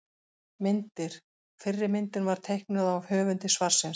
Myndir: Fyrri myndin var teiknuð af höfundi svarsins.